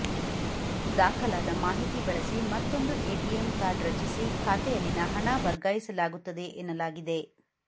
ದಾಖಲಾದ ಮಾಹಿತಿ ಬಳಸಿ ಮತ್ತೊಂದು ಎಟಿಎಂ ಕಾರ್ಡ್ ರಚಿಸಿ ಖಾತೆಯಲ್ಲಿನ ಹಣ ವರ್ಗಾಯಿಸಲಾಗುತ್ತದೆ ಎನ್ನಲಾಗಿದೆ